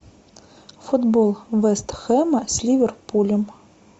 футбол вест хэма с ливерпулем